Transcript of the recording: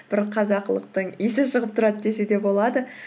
бір қазақылықтың иісі шығып тұрады десе де болады